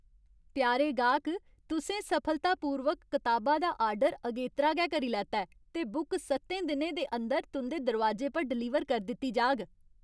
प्यारे गाह्क! तुसें सफलतापूर्वक कताबा दा आर्डर अगेतरा गै करी लैता ऐ ते बुक स'त्तें दिनें दे अंदर तुं'दे दरोआजे पर डलीवर करी दित्ती जाह्ग।